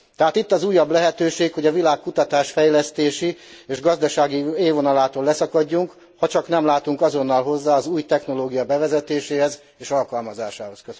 Tehát itt az újabb lehetőség, hogy a világ kutatás fejlesztési és gazdasági élvonalától leszakadjunk, hacsak nem látunk azonnal hozzá az új technológia bevezetéséhez és alkalmazásához.